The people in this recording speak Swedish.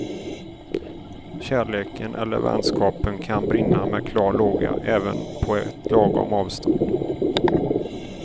Kärleken eller vänskapen kan brinna med klar låga även på ett lagom avstånd.